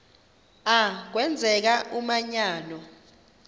a kwenzeka umanyano